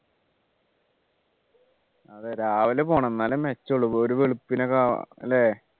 അതെ രാവിലെ പോണം എന്നാലേ മെച്ചമുള്ള ഒരു വെളുപ്പിനൊക്കെ ആഹ് അല്ലേ